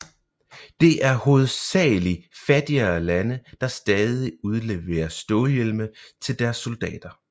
Det er hovedsagelig fattigere lande der stadig udleverer stålhjelme til deres soldater